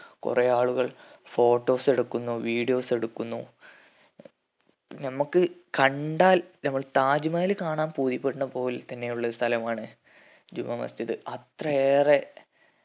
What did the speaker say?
കൊറേ ആളുകൾ photos എടുക്കുന്നു videos എടുക്കുന്നു നമ്മക്ക് കണ്ടാൽ നമ്മൾ താജ്‌മഹൽ കാണാൻ പോയിക്കൊണ്ട പോൽ തന്നെ ഉള്ള ഒരു സ്ഥലമാണ് ജുമാമസ്ജിദ് അത്രയേറെ